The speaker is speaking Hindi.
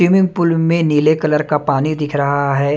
स्विमिंग पूल में नीले कलर का पानी दिख रहा है।